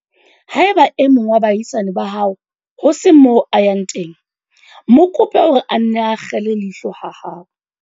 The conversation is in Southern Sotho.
Haeba e mong wa baahisane ba hao ho se moo a yang teng, mo kope hore a nne a akgele leihlo ha hao.